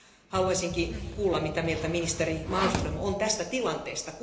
Haluaisinkin kuulla, mitä mieltä ministeri Malmström on tästä tilanteesta.